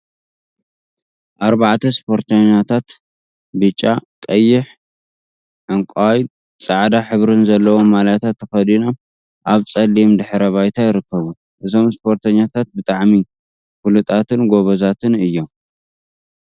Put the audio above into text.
ኣርባዕተ ስፖርተኛታት ብጫ፥ ቀይሕ ዕንቃይን ፃዕዳን ሕብሪ ዘለዎም ማልያታት ተከዲኖም ኣብ ፀሊም ድሕረ ባይታ ይርከቡ። እዞም ስፖርተኛታት ብጣዕሚ ፍሉጣትን ጎበዛትን እዮም።